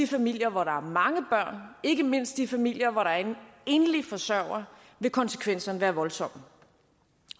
familier hvor der er mange børn ikke mindst i de familier hvor der er en enlig forsørger vil konsekvenserne være voldsomme